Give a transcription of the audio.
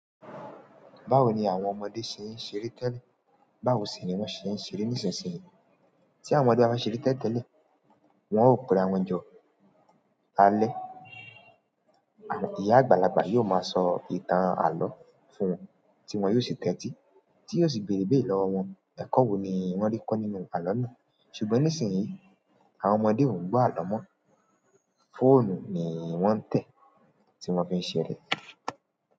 Báwo ni àwọn ọmọdé ṣe ń ṣeré tẹ́lẹ̀? Báwo sì ni wọ́n ṣe ń ṣeré nísinsìnyí? Tí àwọn ọmọdé bá ń ṣeré tẹ́lẹ̀, wọ́n ó perawon jọ alẹ́. Ìyá àgbàlagbà yóò máa sọ ìtàn àlọ́ fún wọn, tí wọ́n yóò sì tẹ́tí, tí yóò sì bèrèbé lọ́wọ́ wọn. Ẹ̀kọ́ wo ni wọ́n rí kọ́ nínú àlọ́ náà? Ṣùgbọ́n nísìnyí, àwọn ọmọdé ò ń gbọ́ àlọ mọ́. Fóònù ni wọ́n ń tẹ̀ tí wọ́n fi ń ṣeré.